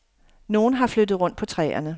Nogen har flyttet rundt på træerne.